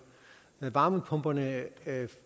varmepumperne